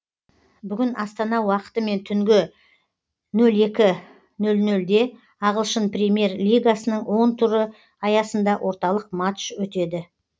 бүгін астана уақытымен түнгі нөл екі нөл нөлде ағылшын премьер лигасының он туры аясында орталық матч өтеді